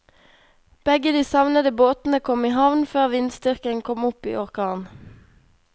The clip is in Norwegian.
Begge de savnede båtene kom i havn før vindstyrken kom opp i orkan.